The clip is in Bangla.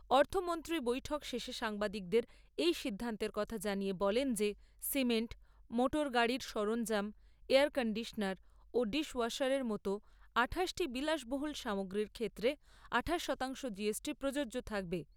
অর্থমন্ত্রী বৈঠক শেষে সাংবাদিকদের এই সিদ্ধান্তের কথা জানিয়ে বলেন যে সিমেন্ট, মোটরগাড়ির সরঞ্জাম, এয়ার কণ্ডিশনার ও ডিস ওয়াশারের মতো আঠাশটি বিলাসবহুল সামগ্রীর ক্ষেত্রে আঠাশ শতাংশ জিএসটি প্রযোজ্য থাকবে।